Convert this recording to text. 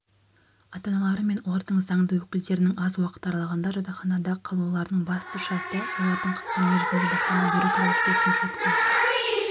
ата-аналары мен олардың заңды өкілдерінің аз уақыт аралығында жатақханада қалуларының басты шарты-олардың қысқа мерзімге баспана беру туралы келісімшартқа